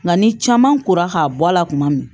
Nka ni caman kora k'a bɔ a la kuma min